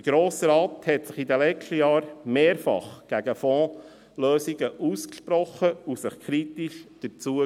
Der Grosse Rat sprach sich in den letzten Jahren mehrfach gegen Fondslösungen aus und äusserte sich kritisch dazu.